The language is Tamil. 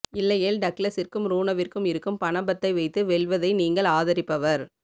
இல்லையேல் டக்ளஸிற்கும் ருணவிற்கும் இருக்கும் பணபத்தை வைத்து வெல்வதை நீங்கள் ஆதரிப்பவர்